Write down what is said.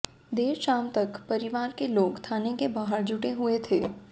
देर शाम तक परिवार के लोग थाने के बाहर जुटे हुए थे